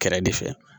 Kɛrɛ de fɛ